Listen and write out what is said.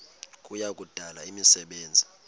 kuya kudala imisebenzi